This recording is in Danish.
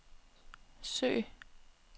søg